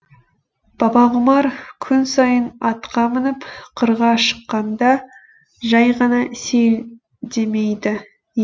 бабағұмар күн сайын атқа мініп қырға шыққанда жай ғана сейілдемейді